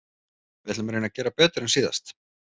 Við ætlum að reyna að gera betur en síðast.